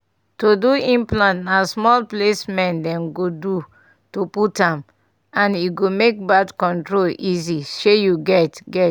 to do implant na small placement dem go do to put am and e make birth control easy shey you get. get.